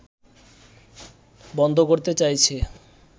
বন্ধ করতে চাইছে